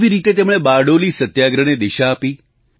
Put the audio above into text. કેવી રીતે તેમણે બારડોલી સત્યાગ્રહને દિશા આપી